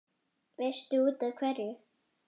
Veistu útaf hverju?